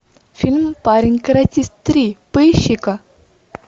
фильм парень каратист три поищи ка